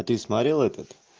ты смотрел этот